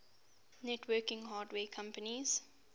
networking hardware companies